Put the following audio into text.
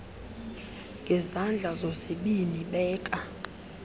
ngezandla zozibini beka